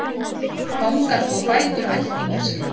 Fangar þvo fætur ættingja sinna